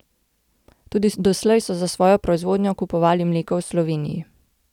Tudi doslej so za svojo proizvodnjo kupovali mleko v Sloveniji.